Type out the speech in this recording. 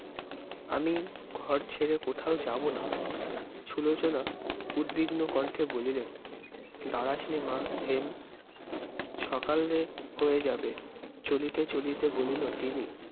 আমি ঘর ছেরে কোথাও যাবনা। সুলোচনা উদ্বিগ্ন কণ্ঠে বলিলেন, দাঁড়াসনে মা হেম, সকালে হয়ে যাবে চলিতে চলিতে বলিল তিনি-